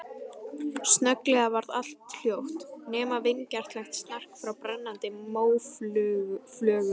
Snögglega varð allt hljótt, nema vingjarnlegt snark frá brennandi móflögum.